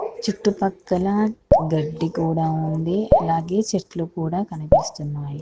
చుట్టూ పక్కల గడ్డి కూడా ఉంది. అలాగే చెట్లు కూడా కనిపిస్తున్నాయి.